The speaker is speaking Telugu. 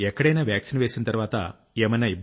ఎక్కడైనా వాక్సీన్ వేసిన తర్వాత ఏమైనా